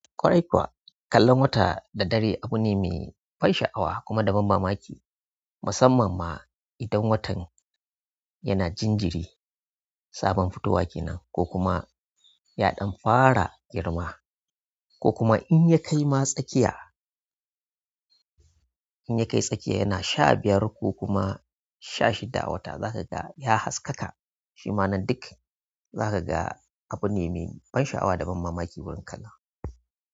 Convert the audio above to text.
Ƙwarai kuwa kallon wata da dare abine mai ban sha'awa kuma da ban mamaki musamman ma idan watan yana jinjiri, sabon futawa kenan, ko kuma ya ɗan fara girma, ko kuma in yakai ma tsakiya in ya kai tsakiya yana sha biyar ko kuma sha shida wata za ka ga ya haskaka, shima nan duk za ka ga abu ne mai ban sha'awa da ban mamaki wurin kalla.